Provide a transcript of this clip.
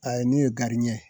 A ye ne y'o gadiɲɛn ye